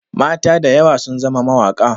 Mata da yawa sun zama mawaƙa.